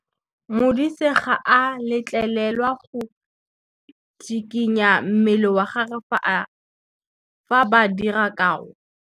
Modise ga a letlelelwa go tshikinya mmele wa gagwe fa ba dira karô.